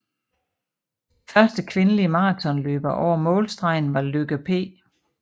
Første kvindelige maratonløber over målstregen var Lykke P